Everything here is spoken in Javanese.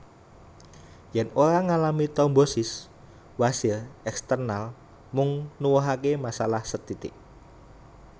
Yen ora ngalami trombosis wasir eksternal mung nuwuhake masalah sethithik